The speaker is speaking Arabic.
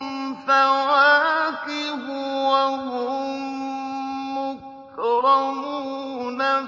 فَوَاكِهُ ۖ وَهُم مُّكْرَمُونَ